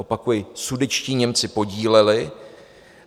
- Opakuji, sudetští Němci podíleli.